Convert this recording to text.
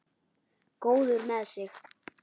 Góður með sig.